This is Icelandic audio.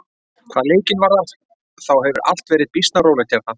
Hvað leikinn varðar, þá hefur allt verið býsna rólegt hérna.